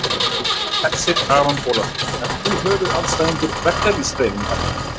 Hersir Aron Ólafsson: Ert þú höfuðandstæðingur verkalýðshreyfingarinnar?